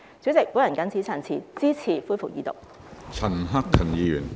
主席，我謹此陳辭，支持恢復二讀。